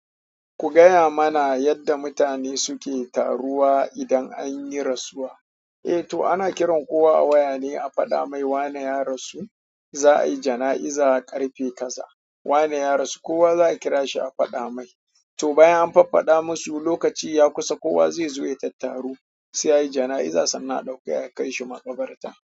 Ku gaya mana yadda mutane suke taruwa idan anyi rasuwa. Eh to ana kiran kowa a waya ne a faɗa mai wane ya rasu, za a yi jana'iza ƙarfe kaza, wane ya rasu kowa za a kira shi a faɗa mai. To bayan an fafaɗa masu, lokaci ya kusa kowa zai zo ya tattaru sai ayi jana'iza sannan a ɗauke aka kai shi maƙabarta.